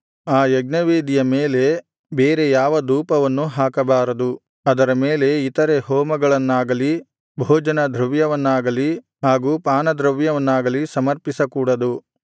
ಆ ಯಜ್ಞವೇದಿಯ ಮೇಲೆ ಬೇರೆ ಯಾವ ಧೂಪವನ್ನೂ ಹಾಕಬಾರದು ಅದರ ಮೇಲೆ ಇತರೆ ಹೋಮವನ್ನಾಗಲಿ ಭೋಜನದ್ರವ್ಯವನ್ನಾಗಲಿ ಹಾಗೂ ಪಾನದ್ರವ್ಯವನ್ನಾಗಲಿ ಸಮರ್ಪಿಸಕೂಡದು